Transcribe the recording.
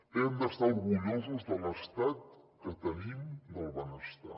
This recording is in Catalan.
hem d’estar orgullosos de l’estat que tenim del benestar